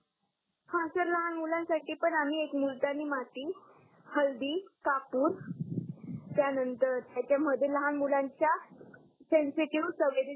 हा सर लहान मुलांसाठी पण आम्ही एक मुलतानी माती हलदी कापूर त्या नंतर त्याच्यामध्ये लहान मुलांच्या सेन्सिटिव्ह संवेरीनग